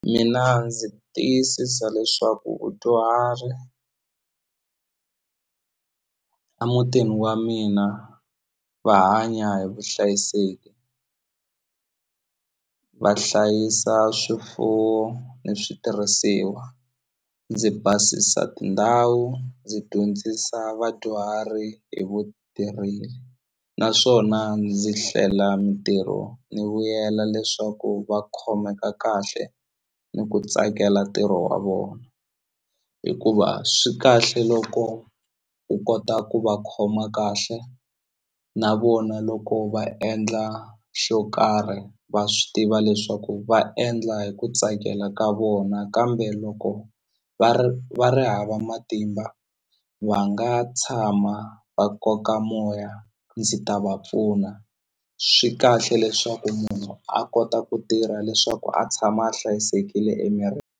Mina ndzi tiyisisa leswaku vudyuhari a mutini wa mina va hanya hi vuhlayiseki va hlayisa swifuwo ni switirhisiwa ndzi basisa tindhawu ndzi dyondzisa vadyuhari hi naswona ndzi hlela mintirho ni vuyela leswaku va khomeka kahle ni ku tsakela ntirho wa vona hikuva swi kahle loko u kota ku va khoma kahle na vona loko va endla xo karhi va swi tiva leswaku va endla hi ku tsakela ka vona kambe loko va ri va ri hava matimba va nga tshama va koka moya ndzi ta va pfuna swi kahle leswaku munhu a kota ku tirha leswaku a tshama a hlayisekile .